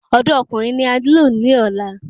Ọ̀dọ́ Ọkùnrin ni a nilo ni ọ̀la